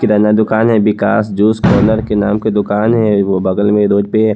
किराना दुकान है Vikas juice corner के नाम की दुकान है वो बगल में रोड पे--